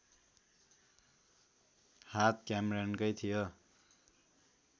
हात क्यामेरनकै थियो